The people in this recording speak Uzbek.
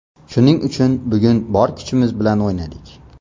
Shuning uchun bugun bor kuchimiz bilan o‘ynadik.